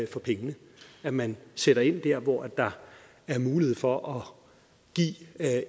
for pengene at man sætter ind der hvor der er mulighed for at